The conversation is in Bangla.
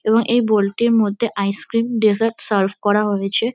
এবং এই বোল টির মধ্যে আইস ক্রিম ডেসার্ট সার্ভ করা হয়েছে।